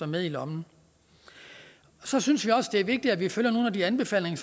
med i lommen så synes jeg også det er vigtigt at vi følger nogle af de anbefalinger